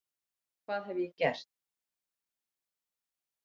hvað hef ég gert?